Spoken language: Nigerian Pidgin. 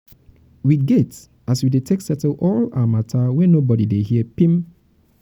we get as we dey take settle all our mata wey nobodi dey her pim.